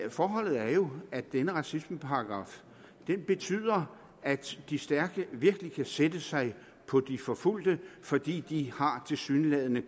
forholdet er jo at denne racismeparagraf betyder at de stærke virkelig kan sætte sig på de forfulgte fordi de tilsyneladende